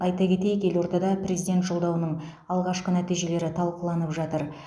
айта кетейік елордада президент жолдауының алғашқы нәтижелері талқыланып жатыр